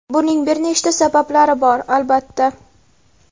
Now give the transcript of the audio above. Buning bir nechta sabablari bor, albatta.